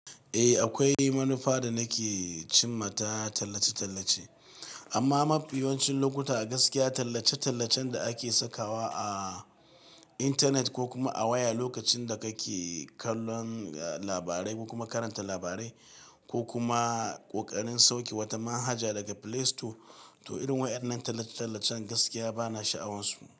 Eh, akwai manufa da nake cimma ta tallace-tallace, amma mafi yawancin lokuta a gaskiya tallace-tallacen da ake sakawa a intanet ko kuma a waya lokacin da kake kallon labarai ko kuma karanta labarai ko kuma ƙoƙarin sauke wata manhaja daga Play Store, to irin waɗannan tallace-tallacen gaskiya bana sha'awarsu.